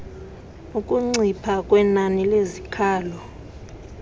ukuncipha kwenani lezikhalo